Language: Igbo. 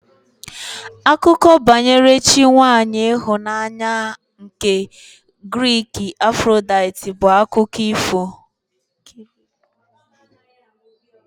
Akụkọ banyere chi nwaanyị ịhụnanya nke Giriki Afrodaiti bụ akụkọ ifo